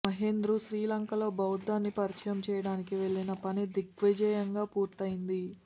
మహేంద్రు శ్రీలంకలో బౌద్ధాన్ని పరిచయం చేయడానికి వెళ్ళిన పని దిగ్విజయంగా పూర్తయింది